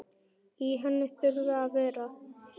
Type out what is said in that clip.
Í henni þurfa að vera